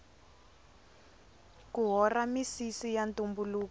ku hora misisi ya ntumbuluko